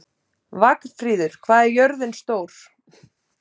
Vagnfríður, hvað er jörðin stór?